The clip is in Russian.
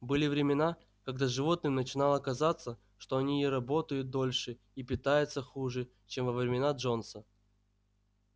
были времена когда животным начинало казаться что они и работают дольше и питаются хуже чем во времена джонса